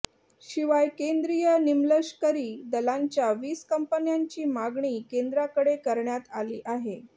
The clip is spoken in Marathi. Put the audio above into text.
शिवाय केंद्रीय निमलष्करी दलांच्या वीस कंपन्यांची मागणी केंद्राकडे करण्यात आली आहे